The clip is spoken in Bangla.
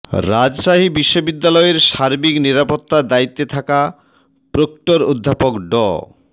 রাজশাহী বিশ্ববিদ্যালয়ের সার্বিক নিরাপত্তার দায়িত্বে থাকা প্রক্টর অধ্যাপক ড